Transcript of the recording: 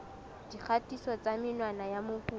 dikgatiso tsa menwana ya mokopi